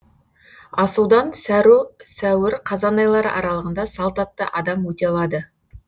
асудан сәуір қазан айлары аралығында салт атты адам өте алады